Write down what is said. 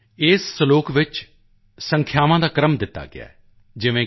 ਇਸ ਸਲੋਕ ਵਿੱਚ ਸੰਖਿਆਵਾਂ ਦਾ ਆਰਡਰ ਦੱਸਿਆ ਗਿਆ ਹੈ ਜਿਵੇਂ ਕਿ